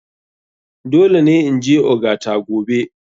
Dole ne in je ogata gobe.